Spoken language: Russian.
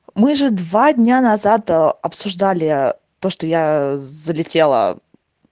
мы же два дня назад ээ обсуждали то что я залетела